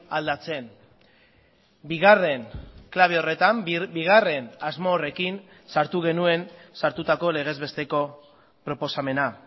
aldatzen bigarren klabe horretan bigarren asmo horrekin sartu genuen sartutako legez besteko proposamena